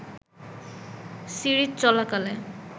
series চলাকালে